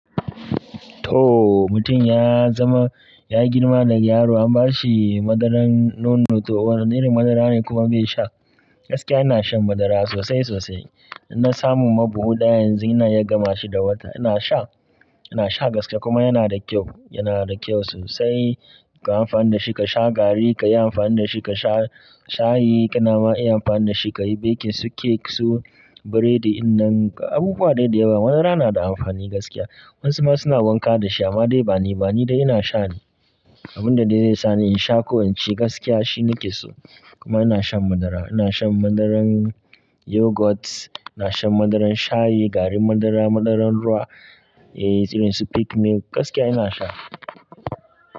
Tooo, mutum ya zama, ya girma daga yaro an bashi madarar nono to wane irin madarane kuma bai sha? Gaskiya ina shan madara sosai sosai. Na samuma buhu ɗaya yanzu ina iya gamashi da wata. Inasha, inasha gaskiya kuma yana da kyau, yanada kyau sosai. Ka amfani dashi kasha garri, kayi amfani dashi kasha shayi, ka nama iya amfani dashi kayi baking su, cake su, burodi innan abubuwa dai dayawa. Madara nada amfani gaskiya. Wasuma suna wanka dashi amma dai baniba nidai ina shane. Abunda de zai sani insha ko inci gaskiya shine keso. Kuma ina shan madara, ina shan madarar yogurt, ina shan madarar shayi, garin madara, madarar ruwa, eh irinsu peak milk gaskiya inasha.